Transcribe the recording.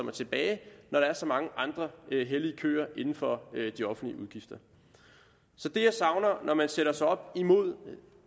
er tilbage når der er så mange andre hellige køer inden for de offentlige udgifter så det jeg savner når man sætter sig op imod